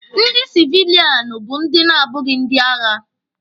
Ndị sivilianụ bụ ndị na-abụghị ndị agha.